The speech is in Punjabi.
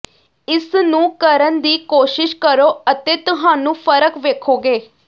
ਇਸ ਨੂੰ ਕਰਨ ਦੀ ਕੋਸ਼ਿਸ਼ ਕਰੋ ਅਤੇ ਤੁਹਾਨੂੰ ਫਰਕ ਵੇਖੋਗੇ